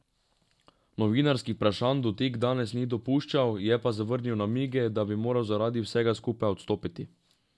Novinarskih vprašanj Dodik danes ni dopuščal, je pa zavrnil namige, da bi moral zaradi vsega skupaj odstopiti.